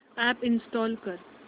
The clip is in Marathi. अॅप इंस्टॉल कर